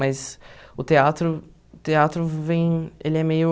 Mas o teatro, o teatro teatro vem, ele é meio...